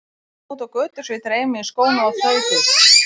Það var flautað úti á götu svo ég dreif mig í skóna og þaut út.